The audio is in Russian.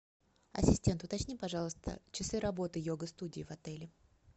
ассистент уточни пожалуйста часы работы йога студии в отеле